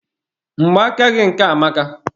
Mgba aka gị nke a amaka.